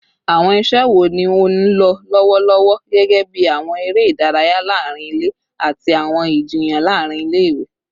Awọn iṣẹ wo ni o nlọ lọwọ lọwọlọwọ, gẹgẹbi awọn ere idaraya laarin ile ati awọn ijiyan laarin ile-iwe?